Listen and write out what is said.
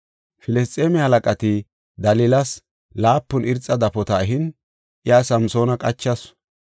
Filisxeeme halaqati Dalilas laapun irxa dafota ehin iya Samsoona qachasu.